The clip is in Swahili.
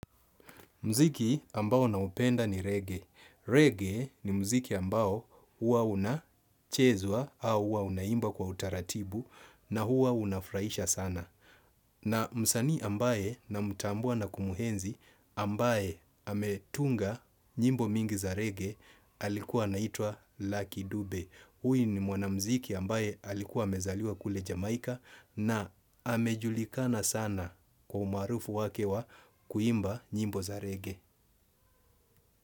Mziki ambao naupenda ni reggae. Reggae ni mziki ambao hua unachezwa au hua unaimba kwa utaratibu na hua unafraisha sana. Na msanii ambaye na mtambua na kumhenzi ambaye ametunga nyimbo mingi za reggae alikuwa anaitwa laki dube. Huyu ni mwanamziki ambaye alikuwa amezaliwa kule Jamaika na amejulikana sana kwa umaarufu wake wa kuimba nyimbo za rege.